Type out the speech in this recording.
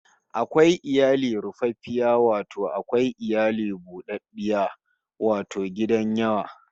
Akwai iyali rufaffiya wato akwai iyali bu ɗaɗɗiya wato gidan yawa